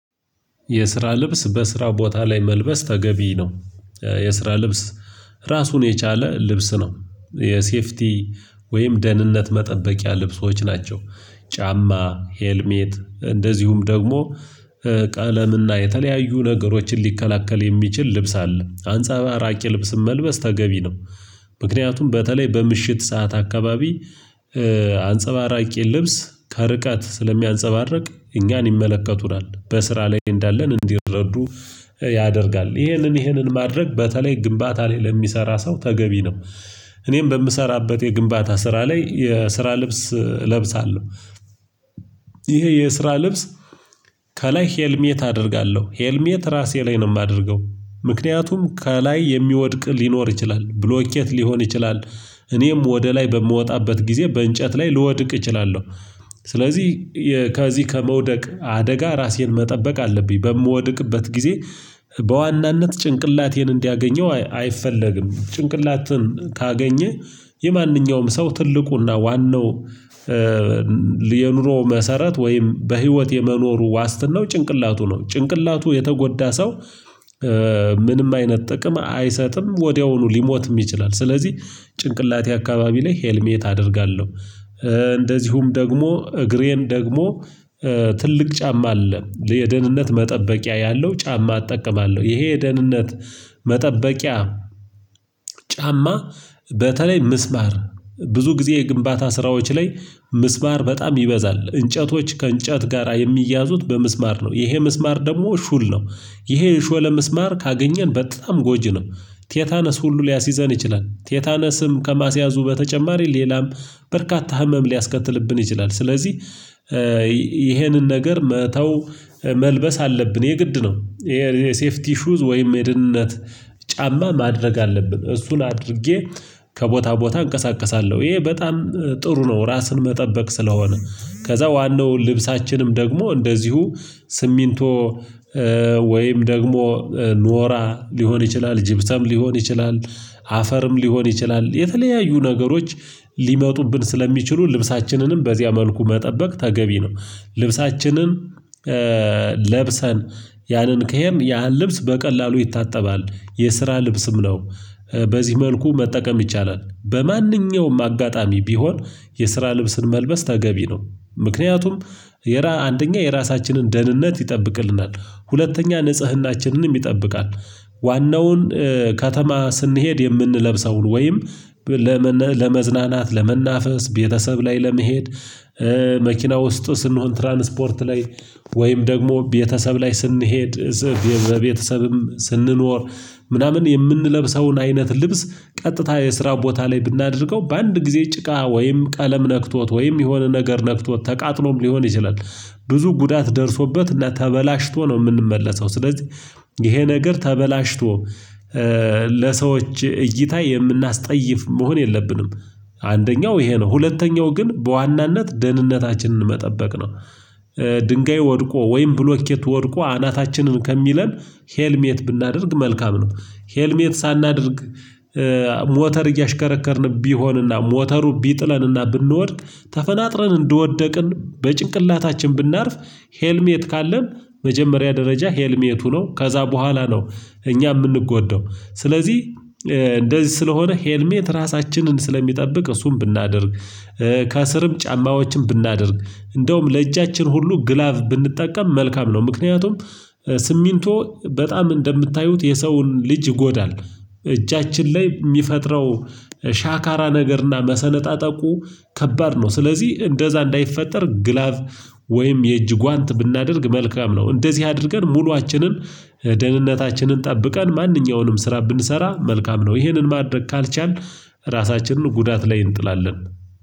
የስራ ልብስ በስራው ቦታ ላይ መልበስ ተገቢ ነው። የስራ ልብስ ራሱን የቻለ ልብስ ነው። የሴፍቲ ወይም ደህንነት መጠበቂያ ልብሶች ናቸው። ጫማ ሄልሜት እንደዚሁም ደግሞ ቀለምና የተለያዩ ነገሮችን ሊከላከል የሚችል ልብስ አለ አንጸባራቂ ልብስም መልበስ ተገቢ ነው። ምክንያቱም በተለይ በምሽት ሰዓት አካባቢ አንጸባራቂ ልብስ ከርቀት ስለሚያንጸባርቅ እኛን ይመለከቱናል በስራ ላይ እንዳለን እንዲረዱ ያደርጋል ይሄንን ይሄንን ማድረግ በተለይ ግንባታ ላይ ለሚሰራ ሰው ተገቢ ነው። እኔም በምሰራበት የግንባታ ስራ ላይ የስራ ልብስ እለብሳለሁ። ይሄ የስራ ልብስ ከላይ ሄልሜት አደርጋለሁ ሄልሜት ራሴ ላይ ነው የማደርገው። ምክንያቱም ከላይ የሚወድቅ ሊኖር ይችላል ብሎኬት ሊሆን ይችላል። እኔም ወደ ላይ በምወጣበት ጊዜ በእንጨት ላይ ልወድቅ እችላለሁ። ስለዚህ ከዚህ ከመውደቅ አደጋ ራሴን መጠበቅ አለብኝ በምወድቅበት ጊዜ በዋናነት ጭንቅላቴን እንዲያገኘው አይፈለግም። ጭንቅላትን ካገኘ የማንኛውም ሰው ትልቁና ዋናው የኑሮ መሰረት ወይም በህይወት የመኖሩ ዋስትናው ጭንቅላቱ ነው ጭንቅላቱ የተጎዳ ሰው። ምንም አይነት ጥቅም አይሰጥም ወዲያውኑ ሊሞትም ይችላል ስለዚህ ጭንቅላቴ አካባቢ ላይ ሄልሜት አደርጋለሁ። እንደዚሁም ደግሞ እግሬን ደግሞ ትልቅ ጫማ አለ የደህንነት መጠበቂያ ያለው ጫማ እጠቀማለሁ። ይሄ የደህንነት መጠበቂያ ጫማ በተለይ ምስማር ብዙ ጊዜ የግንባታ ስራዎች ላይ ምስማር በጣም ይበዛል እንጨቶች ከእንጨት ጋራ የሚያዙት በመስማር ነው ይሄ መስማር ደግሞ ሹል ነው። ይሄ የሾለ መስማር ካገኘን በጣም ጎጂ ነው። ቴታነስ ሁሉ ሊያስይዘን ይችላል ቴታነስም ከማስያዙ በተጨማሪ ሌላም በርካታ ህመም ሊያስከትልብን ይችላል ስለዚህ ይሄንን ነገር መተው መልበስ አለብን የግድ ነው። ይሄ ሴፍቲ ሹዝ ወይም የደህንነት ጫማ ማድረግ አለብን እሱን አድርጌ ከቦታ ቦታ እንቀሳቀሳለሁ ይሄ በጣም ጥሩ ነው። ራስን መጠበቅ ስለሆነ ከዛ ዋናው ልብሳችንም ደግሞ እንደዚሁ ስሚንቶ ወይም ደግሞ ኖራ ሊሆን ይችላል ጅብሰም ሊሆን ይችላል አፈርም ሊሆን ይችላል የተለያዩ ነገሮች ሊመጡብን ስለሚችሉ ልብሳችንንም በዚያ መልኩ መጠበቅ ተገቢ ነው። ልብሳችንን ለብሰን ያንን ከሄድን ያን ልብስ በቀላሉ ይታጠባል የስራ ልብስም ነው። በዚህ መልኩ መጠቀም ይቻላል በማንኛውም አጋጣሚ ቢሆን የስራ ልብስን መልበስ ተገቢ ነው። ምክንያቱም አንደኛ የራሳችንን ደህንነት ይጠብቅልናል ሁለተኛ ንጽህናችንንም ይጠብቃል። ዋናውን ከተማ ስንሄድ የምንለብሰውን ወይም ለመዝናናት ለመናፈስ ቤተሰብ ላይ ለመሄድ መኪና ውስጥ ስንሆን ትራንስፖርት ላይ ወይም ደግሞ ቤተሰብ ላይ ስንሄድ እጽፍ የቤተሰብም ስንኖር ምናምን የምንለብሰውን አይነት ልብስ ቀጥታ የስራ ቦታ ላይ ብናደርገው በአንድ ጊዜ ጭቃ ወይም ቀለም ነክቶት ወይም የሆነ ነገር ነክቶት ተቃጥሎም ሊሆን ይችላል። ብዙ ጉዳት ደርሶበት እና ተበላሽቶ ነው የምንመለሰው ስለዚህ ይሄ ነገር ተበላሽቶ ለሰዎች እይታ የምናስጠይፍ መሆን የለብንም። አንደኛው ይሄ ነው ሁለተኛው ግን በዋናነት ደህንነታችንን መጠበቅ ነው። ድንጋይ ወድቆ ወይም ብሎኬት ወድቆ አናታችንን ከሚለን ሄልሜት ብናደርግ መልካም ነው። ሄልሜት ሳናደርግ ሞተር እያሽከረከርን ቢሆንና ሞተሩ ቢጥለንና ብንወድ ተፈናጥረን እንደወደቅን በጭንቅላታችን ብናርፍ ሄልሜት ካለን መጀመሪያ ደረጃ ሄልሜቱ ነው ከዛ በኋላ ነው። እኛ የምንጎዳው ስለዚህ እንደዚህ ስለሆነ ሄልሜት ራሳችንን ስለሚጠብቅ እሱን ብናደርግ ከስርም ጫማዎችን ብናደርግ እንደውም ለእጃችን ሁሉ ግላቭ ብንጠቀም መልካም ነው። ምክንያቱም ስሚንቶ በጣም እንደምታዩት የሰውን ልጅ ይጎዳል። እጃችን ላይ የሚፈጥረው ሻካራ ነገርና መሰነጣጠቁ ከባድ ነው። ስለዚህ እንደዛ እንዳይፈጠር ግላቭ ወይም የእጅ ጓንት ብናደርግ መልካም ነው። እንደዚህ አድርገን ሙሉአችንን ደህንነታችንን ጠብቀን ማንኛውንም ስራ ብንሰራ መልካም ነው። ይህንን ማድረግ ካልቻልን ራሳችንን ጉዳት ላይ እንጥላለን።